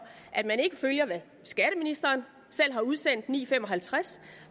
at man ikke følger det skatteministeren selv har udsendt klokken ni fem og halvtreds